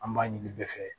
An b'a ɲini bɛɛ fɛ